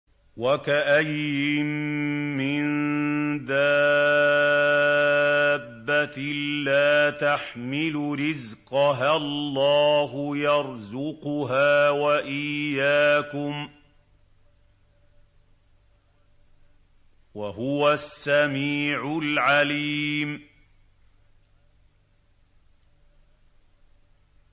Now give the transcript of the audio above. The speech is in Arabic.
وَكَأَيِّن مِّن دَابَّةٍ لَّا تَحْمِلُ رِزْقَهَا اللَّهُ يَرْزُقُهَا وَإِيَّاكُمْ ۚ وَهُوَ السَّمِيعُ الْعَلِيمُ